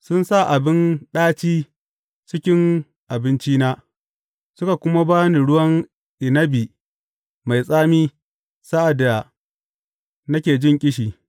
Sun sa abin ɗaci cikin abincina suka kuma ba ni ruwan inabi mai tsami sa’ad da nake jin ƙishi.